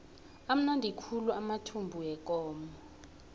amnandi khulu amathumbu wekomo